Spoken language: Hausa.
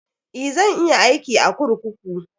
Eh, zan iya aiki a kurkuku.